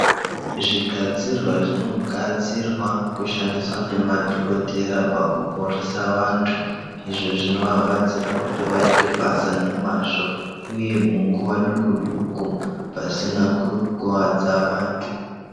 Zvigadzirwa zvinogadzirwa kushandiswa nemadokokera pakuporesa vantu izvo zvinovabatsira kuti vaite basa nemazvo uye munguva dukuduku pasina kukwadza vantu.